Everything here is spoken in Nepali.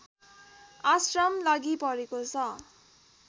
आश्रम लागिपरेको छ